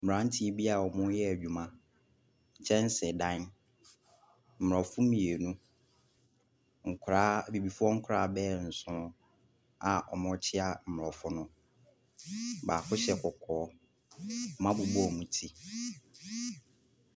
Mmranteɛ bi aa ɔmooyɛ adwuma. Kyɛnse dan, mbrɔfo mmienu, bibifoɔ nkɔlaa bɛyɛ nson aa ɔmookyia mbrɔfo no. Baako hyɛ kɔkɔɔ, ɔmo abobɔ ɔmo ti.